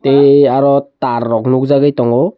eee aro tar rok nokjagoi tango.